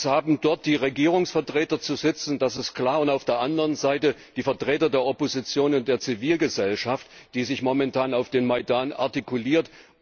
Es haben dort die Regierungsvertreter zu sitzen, das ist klar, und auf der anderen Seite die Vertreter der Opposition und der Zivilgesellschaft, die sich momentan auf dem Maidan artikuliert.